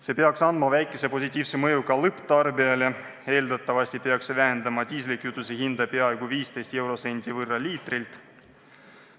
See peaks andma väikese positiivse mõju ka lõpptarbijale: eeldatavasti vähendab see diislikütuse hinda peaaegu 15 eurosendi võrra liitrilt.